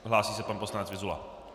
Hlásí se pan poslanec Vyzula.